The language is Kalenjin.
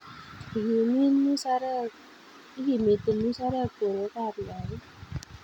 Ikimiti musarek borwekap lagok